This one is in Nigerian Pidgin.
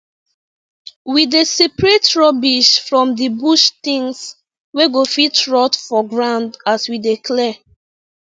we dey separate rubbish from the bush things wey go fit rot for ground as we dey clear